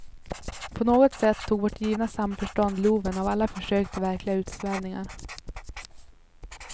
På något sätt tog vårt givna samförstånd loven av alla försök till verkliga utsvävningar.